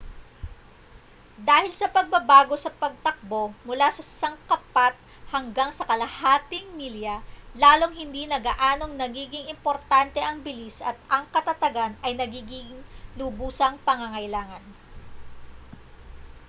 dahil sa pagbabago sa pagtakbo mula sa sangkapat hanggang sa kalahating milya lalong hindi na gaanong nagiging importante ang bilis at ang katatagan ay nagiging lubusang pangangailangan